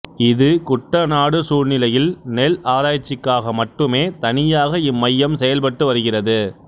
இது குட்டநாடு சூழ்நிலையில் நெல் ஆராய்ச்சிக்காக மட்டுமே தனியாக இம்மையம் செயல்பட்டு வருகிறது